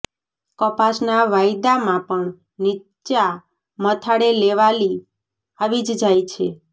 કપાસના વાયદામાં પણ નીચા મથાળે લેવાલી આવી જ જાય છે